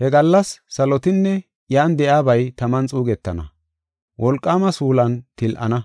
He gallas salotinne iyan de7iyabay taman xuugetana; wolqaama suulan til7ana.